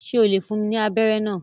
Ṣe o le fún mí ní abẹrẹ náà?